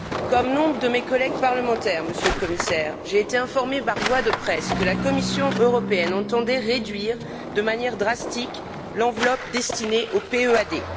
Comme nombre de mes collègues parlementaires, Monsieur le Commissaire, j'ai été informée par voie de presse que la Commission européenne entendait réduire de manière drastique l'enveloppe destinée au PEAD.